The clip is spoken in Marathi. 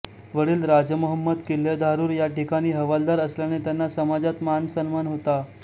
वडील राजमंहमद किल्लेधारुर या ठिकाणी हवालदार असल्याने त्यांना समाजात मान सन्मान होता